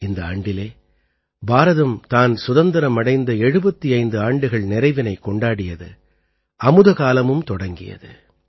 இந்த ஆண்டிலே பாரதம் தான் சுதந்திரம் அடைந்த 75 ஆண்டுகள் நிறைவினைக் கொண்டாடியது அமுதகாலமும் தொடங்கியது